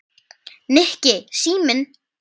Nikki, síminn